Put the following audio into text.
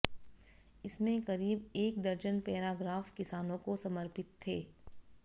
इसमें करीब एक दर्जन पैराग्राफ किसानों को समर्पित थे